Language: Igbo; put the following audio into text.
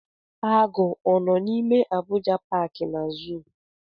Agụ ọ nọ n'ime Abuja paaki na zuu?